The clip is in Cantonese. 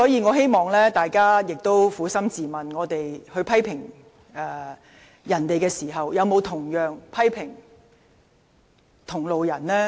我希望大家撫心自問，在批評別人時，有沒有同樣批評同派系的人士？